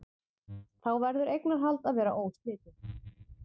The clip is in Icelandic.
Þá verður eignarhald að vera óslitið.